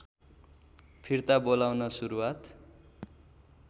फिर्ता बोलाउन सुरुवात